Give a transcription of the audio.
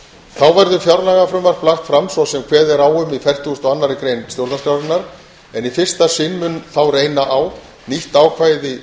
þá verður fjárlagafrumvarp lagt fram svo sem kveðið er á um í fertugustu og annarri grein stjórnarskrárinnar en í fyrsta sinn mun þá reyna á nýtt ákvæði